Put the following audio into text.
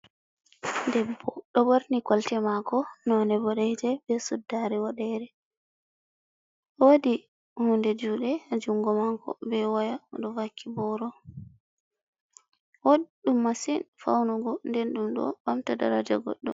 Debbo ɗon ɓorni kolte mako, none boɗeeje be suddare woɗeere, wodi hunnde juɗe ha jungo mako be woya, ɗo vakki boro, woɗɗum masin faunugo nden ɗuɗon ɓamta daraja goɗɗo.